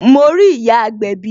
Mo rí ìyá agbẹ̀bí